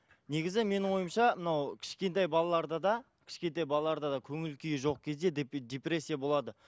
негізі менің ойымша мынау кішкентай балаларда да кішкентай балаларда да көңіл күйі жоқ кезде депрессия болады